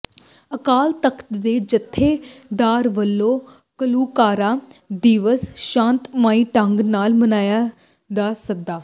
ਅਕਾਲ ਤਖ਼ਤ ਦੇ ਜਥੇਦਾਰ ਵੱਲੋਂ ਘੱਲੂਘਾਰਾ ਦਿਵਸ ਸ਼ਾਂਤਮਈ ਢੰਗ ਨਾਲ ਮਨਾਉਣ ਦਾ ਸੱਦਾ